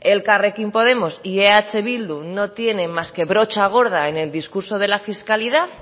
elkarrekin podemos y eh bildu no tienen más que brocha gorda en el discurso de la fiscalidad